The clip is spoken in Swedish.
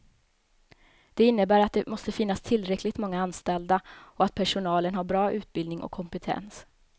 Det innebär att det måste finnas tillräckligt många anställda och att personalen har bra utbildning och kompetens.